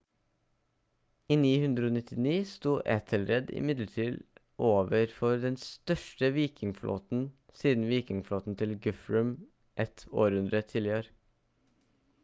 i 991 stod ethelred imidlertid overfor den største vikingflåten siden vikingflåten til guthrum et århundre tidligere